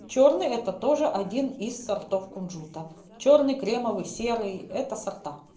чёрный это тоже один из сортов кунжута чёрный кремовый серый это сорта